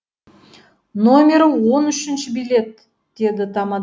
номері он үшінші билет деді тамада